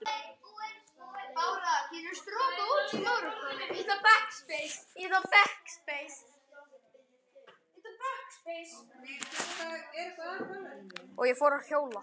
Og ég fór að hjóla.